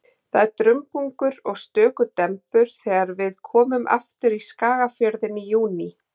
Það er dumbungur og stöku dembur þegar við komum aftur í Skagafjörðinn í júní.